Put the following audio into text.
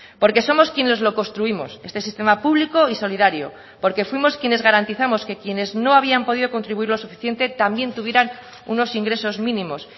porque somos quienes lo construimos este sistema público y solidario porque fuimos quienes garantizamos que quienes no habían podido contribuir lo suficiente también tuvieran unos ingresos mínimos